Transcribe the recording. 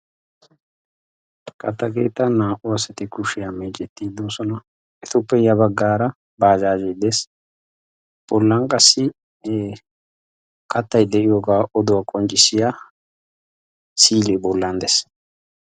Katta keettan naa"u asati kushiyaa meecettiddi doosona. Etuppe ya baggaara baajaaje des. Bollan qassi kattay de'iyoogaa oduwaa qonccissiya si"ilee bollan dees.